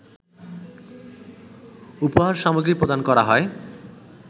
উপহার সামগ্রী প্রদান করা হয়